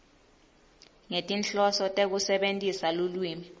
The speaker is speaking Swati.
ngetinhloso tekusebentisa lulwimi